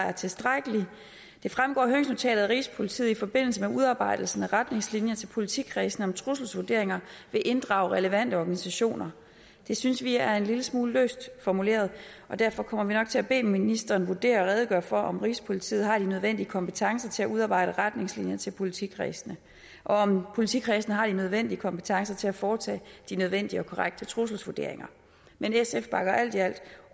er tilstrækkelig det fremgår af høringsnotatet at rigspolitiet i forbindelse med udarbejdelsen af retningslinjer til politikredsene om trusselsvurderinger vil inddrage relevante organisationer det synes vi er en lille smule løst formuleret og derfor kommer vi nok til at bede ministeren vurdere og redegøre for om rigspolitiet har de nødvendige kompetencer til at udarbejde retningslinjer til politikredsene og om politikredsene har de nødvendige kompetencer til at foretage de nødvendige og korrekte trusselsvurderinger men sf bakker alt i alt